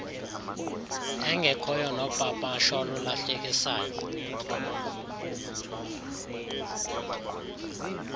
engekhoyo nopapasho olulahlekisayo